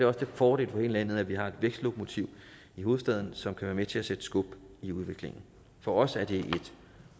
også til fordel for hele landet at vi har et vækstlokomotiv i hovedstaden som kan være med til at sætte skub i udviklingen for os er det et